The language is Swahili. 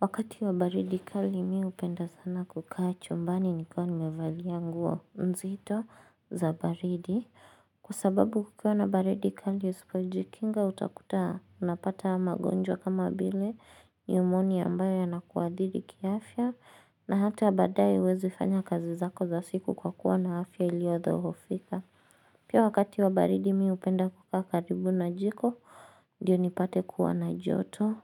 Wakati wa baridi kali mi hupenda sana kukaa chombani nikiwa nimevalia nguo nzito za baridi Kwa sababu kukiwa na baridi kali usipo jikinga utakuta unapata magonjwa kama vile nimonia ambayo yanakuadhiri ki afya na hata badae huwezi fanya kazi zako za siku kwa kuwa na afya iliodhohofika Pia wakati wa baridi mi hupenda kukaa karibu na jiko ndio nipate kuwa na joto